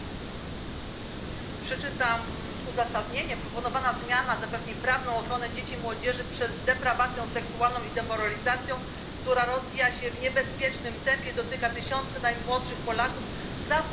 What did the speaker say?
Przeczytam uzasadnienie Proponowana zmiana zapewni prawną ochronę dzieci i młodzieży przez deprawacją seksualną i demoralizacją, która rozwija się w niebezpiecznym tempie i dotyka tysiące najmłodszych Polaków za pośrednictwem tzw.